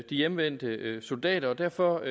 hjemvendte soldater og derfor